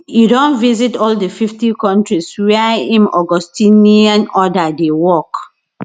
e don visit all di 50 kontris wia im augustinian order dey work